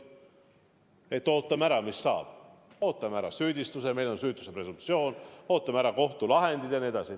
Ma võinuks öelda, et ootame ära, mis saab, ootame ära süüdistuse – meil on süütuse presumptsioon, ootame ära kohtulahendid jne.